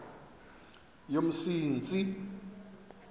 yomsintsi